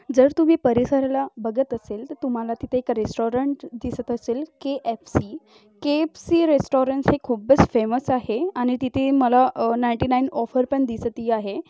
जर तुम्ही परिसरला बघत असेल तर तुम्हाला तिथे एक रेस्टॉरंट दिसत असेल के_एफ_सी के_एफ_सी रेस्टॉरंट हे खूपच फेमस आहे आणि तिथे मला अह नाइंटी नाइन ऑफर पण दिसती आहे.